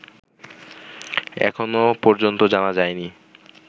এখনও পর্যন্ত জানা যায়নি